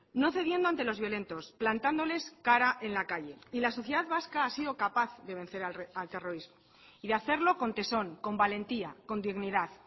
no cediendo ante los violentos plantándoles cara en la calle y la sociedad vasca ha sido capaz de vencer al terrorismo y de hacerlo con tesón con valentía con dignidad